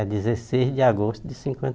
É dezesseis de agosto de